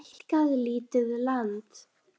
Hann hefur stækkað lítið land